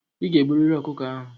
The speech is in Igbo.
I ga-egburịrị ọkụkọ ahụ!